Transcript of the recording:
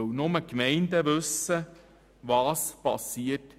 Nur die Gemeinden wissen, was bei ihnen geschieht.